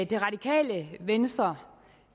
det radikale venstre